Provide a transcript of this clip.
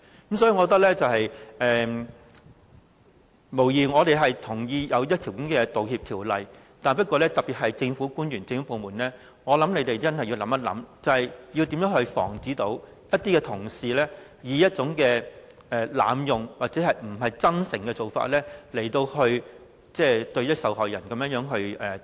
因此，我認為，無疑我們同意需要制定道歉法例，不過，特別是政府官員、政府部門，我想他們要詳細考慮，要如何防止一些同事以濫用或不真誠的做法來向受害人道歉。